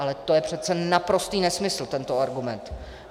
Ale to je přece naprostý nesmysl, tento argument.